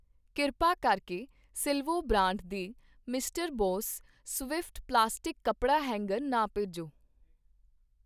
ਕਿਰਪਾ ਕਰਕੇ Silvo brand ਦੇ ਮਿਸਟਰ ਬੌਸ ਸਵਿਫਟ ਪਲਾਸਟਿਕ ਕੱਪੜਾ ਹੈਂਗਰ ਨਾ ਭੇਜੋ।